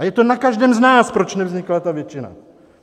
A je to na každém z nás, proč nevznikla ta většina.